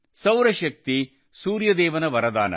ಸೌರಶಕ್ತಿ ಸೂರ್ಯದೇವನ ವರದಾನ